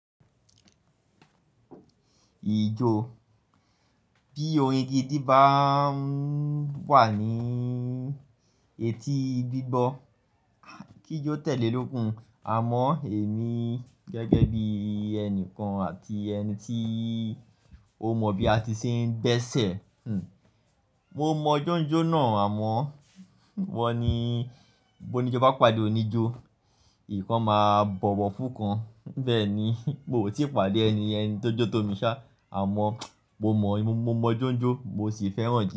Ijo, bí orin gidi bá ń wà ní etí gbígbọ, kíjo tẹ̀lé lókun. Àmọ́ èmi gẹ́gẹ́ bí ẹnìkan àti ẹni tí o mọ bí a ti se ń gbẹ́sẹ̀. Mo mọ jó njó náà, àmọ́ wọ́n ní bóní jo bá pàdé oníjó, ìkan máa bọ̀wọ̀ fún kan. Bẹẹni, mo ò tíì pàdé ẹni tó jó tó mi ṣá. Àmọ́ mo mọ jó n jó, mo sì fẹ́ràn an.